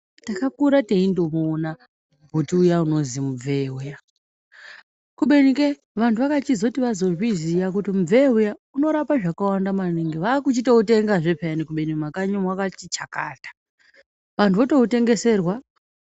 Takakura teindoona muti uya unozi mubvee uya kubeni kee vantu vakachizoti vazozviziya kuti mubvee uya unorapa zvakawanda maningi vakuchitoutengazve peyani kubeni mumakanyi umwo wakati chakata vantu votoutengeserwa.